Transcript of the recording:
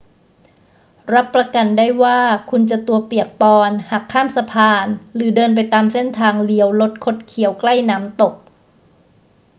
รับประกันได้ว่าคุณจะตัวเปียกปอนหากข้ามสะพานหรือเดินไปตามเส้นทางเลี้ยวลดคดเคี้ยวใกล้น้ำตก